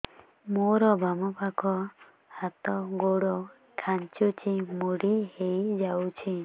ମୋର ବାମ ପାଖ ହାତ ଗୋଡ ଖାଁଚୁଛି ମୁଡି ହେଇ ଯାଉଛି